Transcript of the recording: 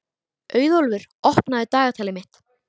Auðólfur, opnaðu dagatalið mitt.